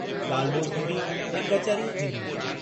ॻाल्हि ॿोल्हि थींदी ऐं कचहरियूं थींदियूं।